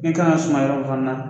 E ka kan ka sumaya o fana na.